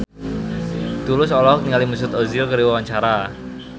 Tulus olohok ningali Mesut Ozil keur diwawancara